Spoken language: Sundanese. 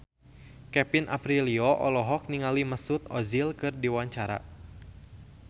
Kevin Aprilio olohok ningali Mesut Ozil keur diwawancara